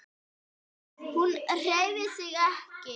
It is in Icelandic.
Hún hreyfir sig ekki.